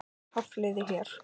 Hafliði hér.